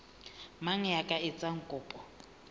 mang ya ka etsang kopo